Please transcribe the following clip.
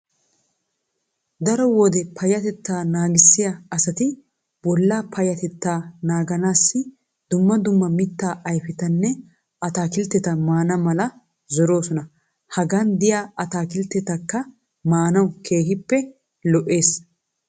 Dao wode payyatetaa naagissiya asati bollaa payyateta naaganaassi dumma dumma mittaa ayfetanne ataakilteta maana mala zoroosona. Hagan diya ataakiltekka maanawu keehippe lo'ees.